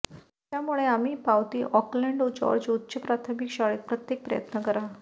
त्यामुळे आम्ही पावती ऑकलॅंड जॉर्ज उच्च प्राथमिक शाळेत प्रत्येक प्रयत्न करा